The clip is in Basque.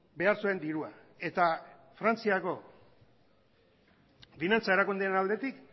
behar zuen dirua eta frantziako finantza erakundeen aldetik